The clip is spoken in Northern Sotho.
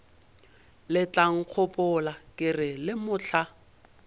letlankgopola ke re le mohla